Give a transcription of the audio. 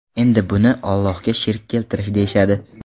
Endi buni Ollohga shirk keltirish deyishadi.